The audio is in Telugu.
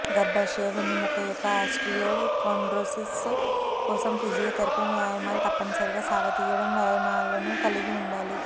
గర్భాశయ వెన్నెముక యొక్క ఆస్టియోకోండ్రోసిస్ కోసం ఫిజియోథెరపీ వ్యాయామాలు తప్పనిసరిగా సాగదీయడం వ్యాయామాలను కలిగి ఉండాలి